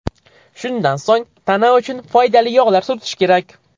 Shundan so‘ng tana uchun foydali yog‘lar surtish kerak.